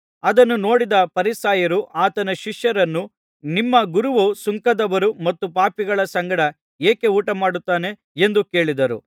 ಅದನ್ನು ನೋಡಿದ ಫರಿಸಾಯರು ಆತನ ಶಿಷ್ಯರನ್ನು ನಿಮ್ಮ ಗುರುವು ಸುಂಕದವರು ಮತ್ತು ಪಾಪಿಗಳ ಸಂಗಡ ಏಕೆ ಊಟಮಾಡುತ್ತಾನೆ ಎಂದು ಕೇಳಿದರು